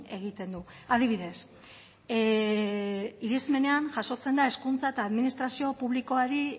egiten du adibidez irismenean jasotzen da hezkuntza eta administrazio publikoari